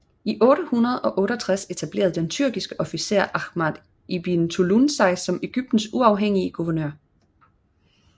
I 868 etablerede den tyrkiske officer Aḥmad ibn Ṭūlūn sig som Egyptens uafhængige guvernør